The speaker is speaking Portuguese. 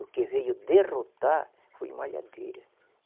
O que veio derrotar foi malhadeira.